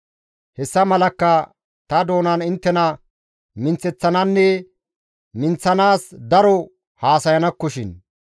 Hessa malakka ta doonan inttena minththeththananne minththanaas daro haasayanakkoshin.